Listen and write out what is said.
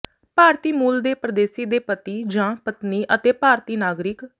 ਭਾਰਤੀ ਮੂਲ ਦੇ ਪਰਦੇਸੀ ਦੇ ਪਤੀ ਜਾਂ ਪਤਨੀ ਅਤੇ ਭਾਰਤੀ ਨਾਗਰਿਕ